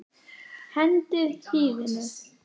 Hendið hýðinu.